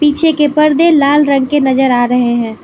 पीछे के पर्दे लाल रंग के नजर आ रहे हैं।